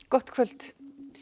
gott kvöld